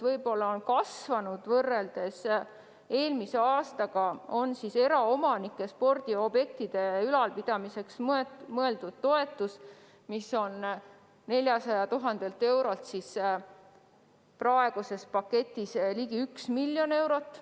Võrreldes eelmise aastaga on oluliselt kasvanud eraomanike spordiobjektide ülalpidamiseks mõeldud toetus, mis on varasema 400 000 euro asemel praeguses paketis ligi 1 miljon eurot.